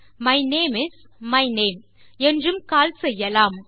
my name is my name என்றும் கால் செய்யலாம்